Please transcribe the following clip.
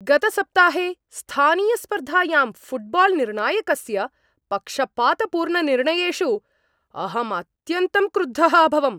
गतसप्ताहे स्थानीयस्पर्धायां फ़ुट्बाल्निर्णायकस्य पक्षपातपूर्णनिर्णयेषु अहम् अत्यन्तं क्रुद्धः अभवम्।